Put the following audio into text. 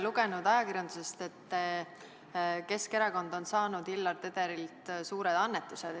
Oleme ajakirjandusest lugenud, et Keskerakond on saanud Hillar Tederilt suured annetused.